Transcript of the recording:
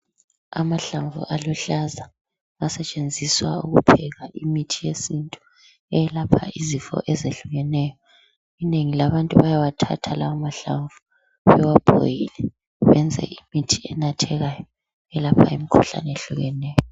Amahlamvu aluhlaza asetshenziswa ukupheka imithi yesintu eyelapha izifo ezehlukeneyo. Inengi labantu bayawathatha lawa mahlamvu bawabhoyile benze imithi enathekayo elapha imkhuhlane ehlukeneyo